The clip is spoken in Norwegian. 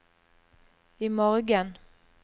imorgen